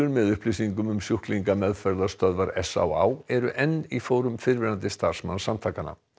með upplýsingum um sjúklinga meðferðarstöðvar s á á eru enn í fórum fyrrverandi starfsmanns samtakanna